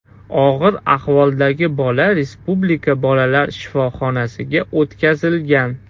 Og‘ir ahvoldagi bola respublika bolalar shifoxonasiga o‘tkazilgan.